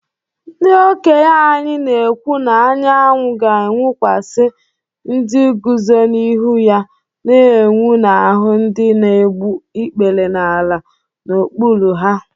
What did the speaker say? Ndị okenye anyị na-ekwu na anyanwụ ga-enwukwasị ndị guzo n’ihu ya na-enwu n’ahụ́ ndị na-egbu ikpere n’ala n’okpuru ha